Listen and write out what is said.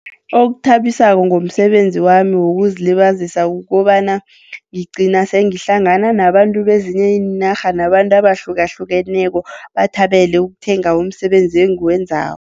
Okuthabisako ngomsebenzi wami wokuzilibazisa kukobana ngigcina sengihlangana nabantu bezinye iinarha, nabantu abahlukahlukeneko, bathabele ukuthenga umsebenzi engiwenzako.